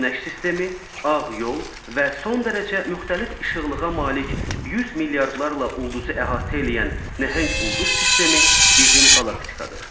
Günəş sistemi, ağ yol və son dərəcə müxtəlif işıqlığa malik 100 milyardlarla ulduzu əhatə eləyən nəhəng ulduz sistemi bizim qalaktikadır.